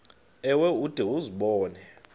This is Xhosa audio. ewe ude uzibone